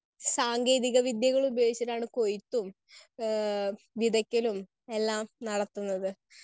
Speaker 1 സാങ്കേതികവിദ്യകൾ ഉപയോഗിച്ചിട്ടാണ് കൊയ്ത്തും ഏഹ് വിതയ്ക്കലും എല്ലാം നടത്തുന്നത്.